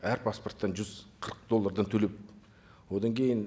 әр паспорттан жүз қырық доллардан төлеп одан кейін